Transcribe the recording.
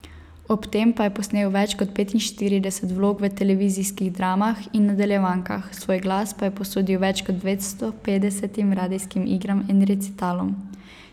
Ob tem pa je posnel več kot petinštirideset vlog v televizijskih dramah in nadaljevankah, svoj glas pa je posodil več kot dvestopetdesetim radijskim igram in recitalom.